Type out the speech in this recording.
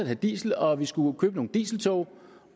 have diesel og at vi skulle købe nogle dieseltog